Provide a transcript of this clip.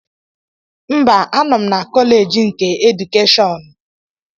Mba, anọ m na Kọlej nke edukeshọn